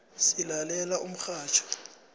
silalela umxhatjho